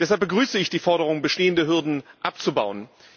Deshalb begrüße ich die Forderung, bestehende Hürden abzubauen.